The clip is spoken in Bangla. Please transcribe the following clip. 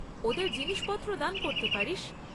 ওদের জিনিসপত্র দান করতে পারিস।